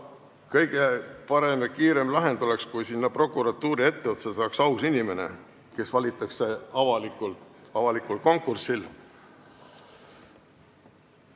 Kõige parem ja kiirem lahend oleks, kui prokuratuuri etteotsa saaks aus inimene, kes valitakse avalikul konkursil.